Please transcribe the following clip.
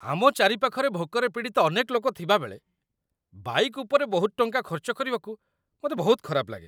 ଆମ ଚାରିପାଖରେ ଭୋକରେ ପୀଡ଼ିତ ଅନେକ ଲୋକ ଥିବାବେଳେ, ବାଇକ୍‌ ଉପରେ ବହୁତ ଟଙ୍କା ଖର୍ଚ୍ଚ କରିବାକୁ ମୋତେ ବହୁତ ଖରାପ ଲାଗେ।